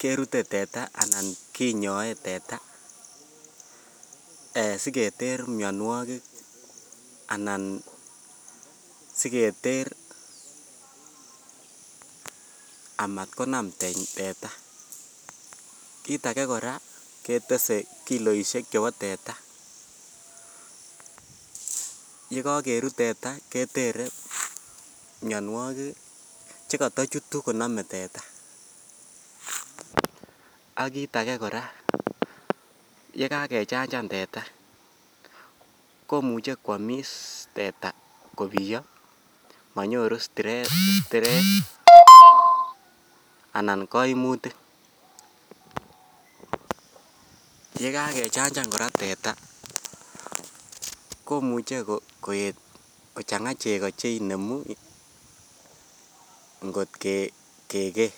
kerute teta anan konyoe teta siketer mionwokik anan siketer anan siketer amat konam teta kit agee koraa ketese kiloishek chebo teta ye kokerut teta ketere mionwokik che Koto chutu konome teta ak kit agee koraa yee kagechachan teta komuche kwomis teta kobiyo monyoru stress anan koimutik yee kagechachan koraa teta komuche koet kochanga chego cheinemu ngot kegee